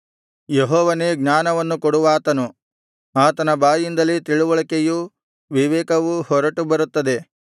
ಯೆಹೋವನೇ ಜ್ಞಾನವನ್ನು ಕೊಡುವಾತನು ಆತನ ಬಾಯಿಂದಲೇ ತಿಳಿವಳಿಕೆಯೂ ವಿವೇಕವೂ ಹೊರಟು ಬರುತ್ತವೆ